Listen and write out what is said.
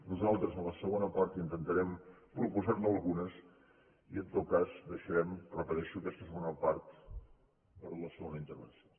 nosaltres en la segona part intentarem proposar ne algunes i en tot cas deixarem ho repeteixo aquesta segona part per a la segona intervenció